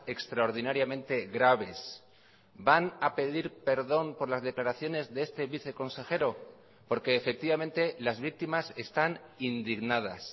extraordinariamente graves van a pedir perdón por las declaraciones de este viceconsejero porque efectivamente las víctimas están indignadas